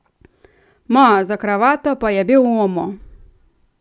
Ma, za kravato pa je bil uomo.